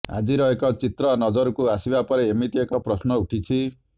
ଆଜିର ଏକ ଚିତ୍ର ନଜରକୁ ଆସିବା ପରେ ଏମିତି ଏକ ପ୍ରଶ୍ନ ଉଠିଛି